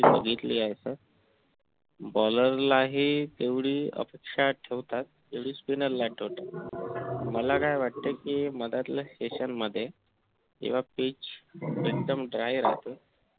बघितले आहे तर bowler ला हि तेवढी अपेक्षा ठेवतात जेवढी spinner ला ठेवतात मला काय वाटत कि मधात session मध्ये तेव्हा pitch dry राहते